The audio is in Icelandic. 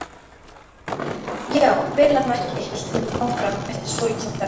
Já, vel að merkja, hélt hún áfram eftir svolitla þögn.